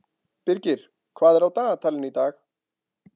Birgir, hvað er á dagatalinu í dag?